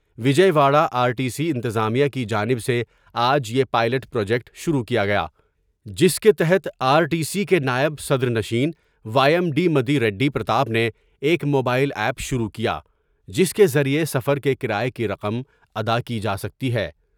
Vijay Wada R T C انتظامیہ کی جانب سے آج یہ پائیلٹ پراجیکٹ شروع کیا گیا جس کے تحت آرٹی سی کے نائب صدرنشین وایم ڈی مدی ریڈی پرتاب نے ایک موبائیل ایپ شروع کیا جس کے ذریعہ سفر کے کرایہ کی رقم ادا کی جاسکتی ہے ۔